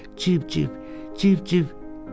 Civ civ, civ civ!